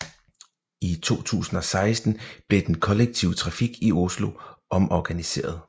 I 2006 blev den kollektive trafik i Oslo omorganiseret